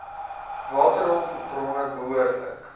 waterhulp bronne behoorlik